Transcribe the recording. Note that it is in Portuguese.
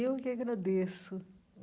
Eu que agradeço.